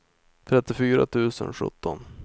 trettiofyra tusen sjutton